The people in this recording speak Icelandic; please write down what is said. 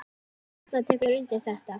Hrefna tekur undir þetta.